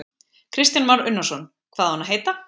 Kristján Már Unnarsson: Hvað á hann að heita?